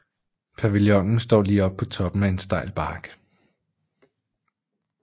Pavillonen står lige på toppen af en stejl bakke